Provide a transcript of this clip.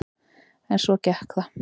En svo gekk það.